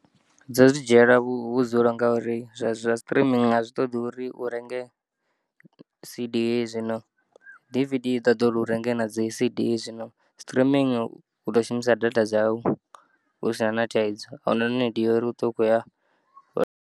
Dzo dzi dzhiyela vhudzulo ngauri zwa zwastrimu a zwi ṱoḓi uri urenge CD, zwino DVD i ṱoḓo uri u renge na dzi CD zwino strimingi u to shumisa data dzau husina na thaidzo ahuna na nidi ya uri uṱwe u khoya.